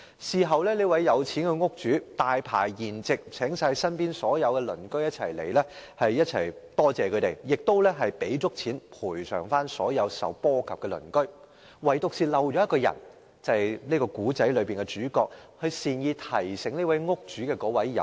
事後，這名有錢的屋主大排筵席，邀請所有鄰居到來感謝他們，亦賠償足夠金錢給所有受波及的鄰居，唯獨一人，便是故事中的主角，即善意提醒屋主的有心人。